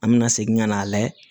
An mɛna segin ka na layɛ